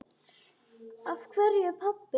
Af hverju, pabbi?